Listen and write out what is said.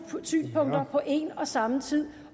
synspunkter på en og samme tid